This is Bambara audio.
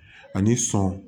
Ani sɔn